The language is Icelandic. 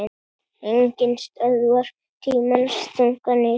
Enginn stöðvar tímans þunga nið